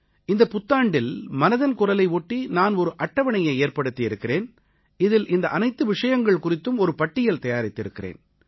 இந்தப் புத்தாண்டில் மனதின் குரலை ஒட்டி நான் ஒரு அட்டவணையை ஏற்படுத்தி இருக்கிறேன் இதில் இந்த அனைத்து விஷயங்கள் குறித்தும் ஒரு பட்டியல் தயாரித்திருக்கிறேன்